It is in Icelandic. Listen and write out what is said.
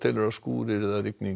skúrir eða rigning